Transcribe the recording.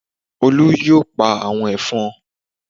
Olú yóò pa àwọn ẹ̀fọn